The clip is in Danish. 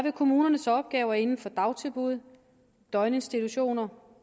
at kommunernes opgaver inden for dagtilbud døgninstitutioner